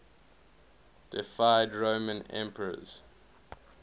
deified roman emperors